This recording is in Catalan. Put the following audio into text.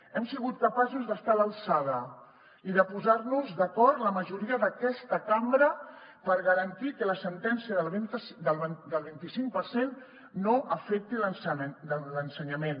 hem sigut capaços d’estar a l’alçada i de posar nos d’acord la majoria d’aquesta cambra per garantir que la sentència del vint i cinc per cent no afecti l’ensenyament